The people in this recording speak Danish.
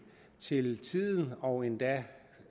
til tiden og endda